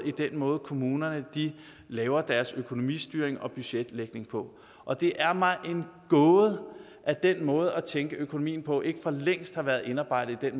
i den måde kommunerne laver deres økonomistyring og budgetlægning på og det er mig en gåde at den måde at tænke økonomien på ikke for længst er indarbejdet